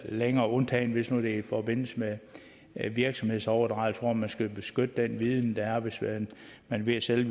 længere undtagen hvis nu det er i forbindelse med virksomhedsoverdragelse hvor man skal beskytte den viden der er hvis man er ved at sælge